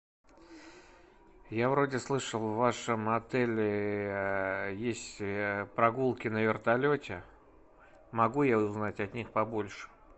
я вроде слышал в вашем отеле есть прогулки на вертолете могу я узнать о них побольше